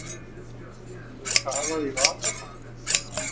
Verður kafað í vasana